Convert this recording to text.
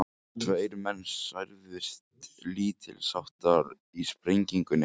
Tveir menn særðust lítilsháttar í sprengingunni